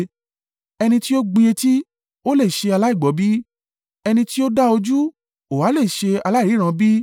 Ẹni tí ó gbin etí, ó lè ṣe aláìgbọ́ bí? Ẹni tí ó dá ojú? Ó ha lè ṣe aláìríran bí?